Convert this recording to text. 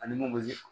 Ani mun be